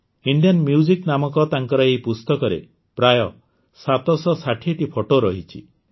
Indian music ନାମକ ତାଙ୍କର ଏହି ପୁସ୍ତକରେ ପ୍ରାୟ ୭୬୦ଟି ଫଟୋ ରହିଛି